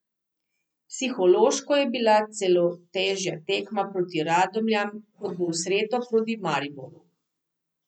Psihološko je bila celo težja tekma proti Radomljam kot bo v sredo proti Mariboru.